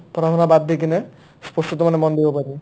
পঢ়া-শুনা বাদ দি কিনে ই sports টো মানে মন বহিব পাৰি